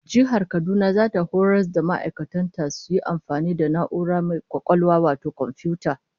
Jihar Kaduna zata horas da ma'aikatan ta su iya amfani da na'ura mai kwakwalwa wato komfiyuta